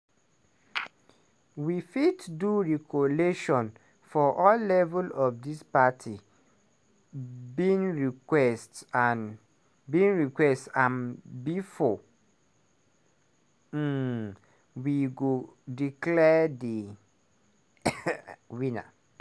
"we fit do re-collation for all levels of dis parties bin reques bin request t am bifor um we go declare di winner.